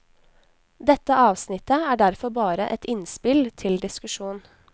Dette avsnittet er derfor bare et innspill til diskusjon.